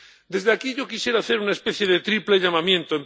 Desde aquí yo quisiera hacer una especie de triple llamamiento.